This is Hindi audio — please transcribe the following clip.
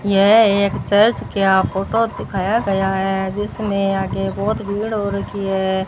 यह एक चर्च क्या फोटो दिखाया गया है जिसमें आगे बहोत भीड़ हो रखी है।